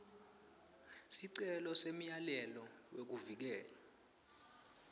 sicelo semyalelo wekuvikeleka